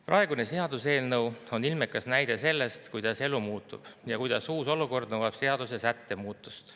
Praegune seaduseelnõu on ilmekas näide sellest, kuidas elu muutub ja kuidas uus olukord nõuab seadusesätte muutmist.